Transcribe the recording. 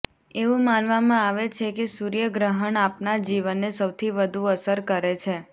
એવું માનવામાં આવે છે કે સૂર્યગ્રહણ આપણા જીવનને સૌથી વધુ અસર કરે છે